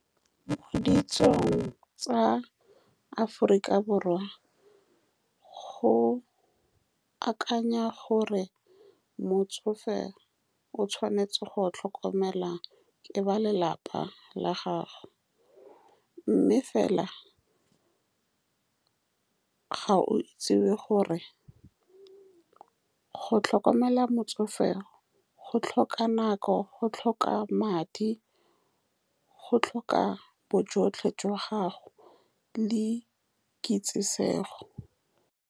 Mo ditsong tsa Aforika Borwa, go akanywa gore motsofe o tshwanetse go tlhokomelwa ke ba lelapa la gagwe, mme fela, ga go itsewe gore go tlhokomela motsofe go tlhoka nako, go tlhoka madi, go tlhoka bojotlhe jwa gago le kitsisego.